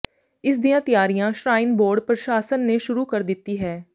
ਇਸ ਦੀਆਂ ਤਿਆਰੀਆਂ ਸ਼੍ਰਾਈਨ ਬੋਰਡ ਪ੍ਰਸ਼ਾਸਨ ਨੇ ਸ਼ੁਰੂ ਕਰ ਦਿੱਤੀ ਹੈ